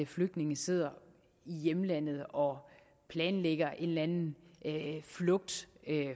flygtninge sidder i hjemlandet og planlægger en eller anden flugt